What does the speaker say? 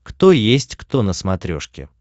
кто есть кто на смотрешке